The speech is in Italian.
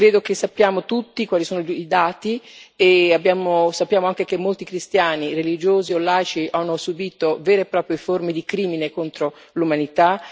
Credo che sappiamo tutti quali sono i dati e sappiamo anche che molti cristiani, religiosi o laici, hanno subito vere e proprie forme di crimine contro l'umanità.